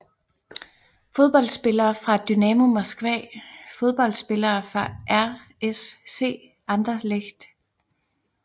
Fodboldspillere fra Dynamo Moskva Fodboldspillere fra RSC Anderlecht